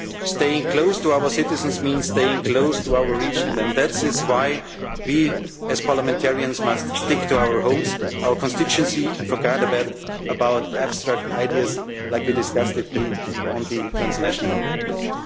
democracy. Staying close to our citizens means staying close to our region, and that is why we, as parliamentarians, must stick to our homes, our constituency and forget about abstract ideas like we discussed on the transnational